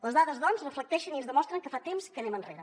les dades doncs reflecteixen i ens demostren que fa temps que anem enrere